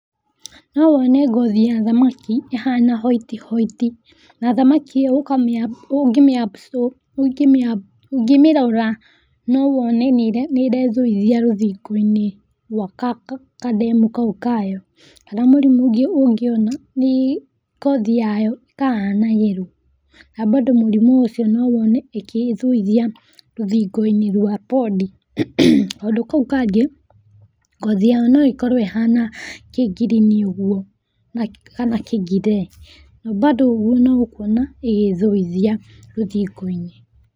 No wone ngothi ya thamaki ĩhana white white na thamaki ĩyo ungĩmĩrora no wone nĩĩrethũithia rũthingo-inĩ rwa ka demu kau kayo. Kana mũrimũ ũngĩ ũngĩona nĩ ngothi yayo ĩkahana yellow na bado mũrĩmũ ũcio no wone ĩgĩthũithia rũthingo-inĩ rwa pond. Kaũndũ kau kangĩ ngothi yayo no ĩkorwo ĩhana kĩ green ũguo kana kĩ grey na bado ũguo no ũkuona ĩgĩthĩithia rũthingo-inĩ.